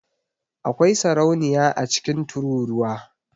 Akwai sarauniya a cikin tururuwa.